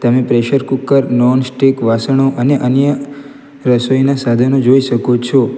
ને pressure cooker nonstick વાસણો અને અન્ય રસોઈના સાધનો જોઈ શકો છો.